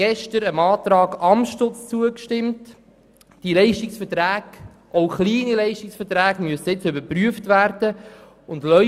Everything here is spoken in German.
Gestern haben wir dem Antrag Amstutz zugestimmt, wonach die Leistungsverträge, auch kleine, überprüft werden müssen.